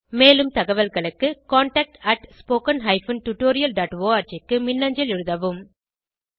மேலும் தகவல்களுக்கு contactspoken tutorialorg க்கு மின்னஞ்சல் எழுதவும்